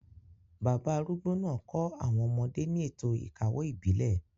Bàbá arúgbó náà kọ́ àwọn ọmọdé ní ètò ìkawó ìbílẹ̀,